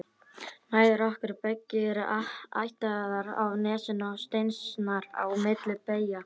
Mæður okkar beggja eru ættaðar af Nesinu og steinsnar á milli bæja.